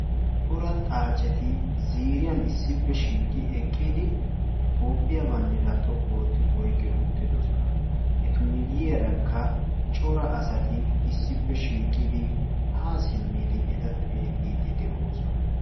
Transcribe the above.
Cora xaaceti ziiriyan issippe shiiqi eqqidi toophiyaa banddira xoqqu ootti oyqqi uttidoosona. eta miyyiyarakka cora asati issppe shiiqidi ha simmidi eta xeellidi de'oosona.